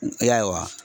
Ayiwa